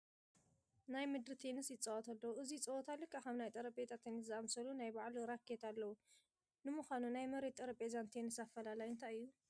ናይ ምድሪ ቴንስ ይፃወቱ ኣለዉ፡፡ እዚ ፀወታ ልክዕ ከም ናይ ጠረጴዛ ቴንስ ዝኣምሰለ ናይ ባዕሉ ራኬት ኣለዉ፡፡ ንምዃኑ ናይ መሬትን ጠረጴዛን ቴንስ ኣፈላላዮም እንታይ እዩ?